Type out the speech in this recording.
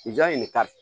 Jaa in de ka di